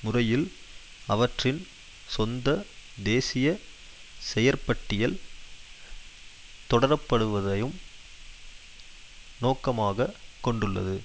முறையில் அவற்றின் சொந்த தேசிய செயற்பட்டியல் தொடரப்படுவதையும் நோக்கமாக கொண்டுள்ளது